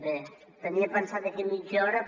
bé tenia pensat d’aquí a mitja hora